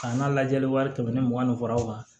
K'an ka lajɛli wari tɛmɛ ni mugan ni fɔlɔ kan